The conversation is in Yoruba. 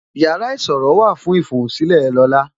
Yàrá ìṣòro wà fún ifohunsile lola